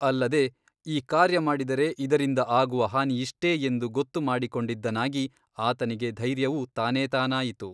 ಅಲ್ಲದೆ ಈ ಕಾರ್ಯ ಮಾಡಿದರೆ ಇದರಿಂದ ಆಗುವ ಹಾನಿಯಿಷ್ಟೇ ಎಂದು ಗೊತ್ತು ಮಾಡಿಕೊಂಡಿದ್ದನಾಗಿ ಆತನಿಗೆ ಧೈರ್ಯವೂ ತಾನೇತಾನಾಯಿತು.